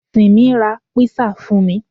Tìmí ra písà fún mi